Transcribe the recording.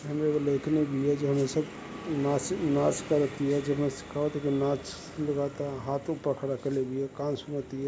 हेमे एगो लेइकनि बिया जो अइसन नाच नाच करतिया हाथो पकड़क ले बिया कान सुनतिया --